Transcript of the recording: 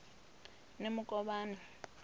nemukovhani